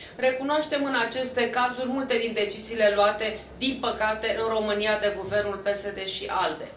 Recunoaștem în aceste cazuri multe din deciziile luate, din păcate, în România, de guvernul PSD ALDE.